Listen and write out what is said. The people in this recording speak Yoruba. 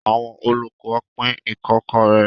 Àwọn olùkọ́ pín ikokore.